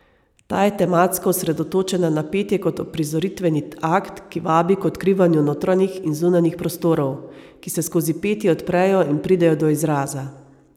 Ta je tematsko osredotočena na petje kot uprizoritveni akt, ki vabi k odkrivanju notranjih in zunanjih prostorov, ki se skozi petje odprejo in pridejo do izraza.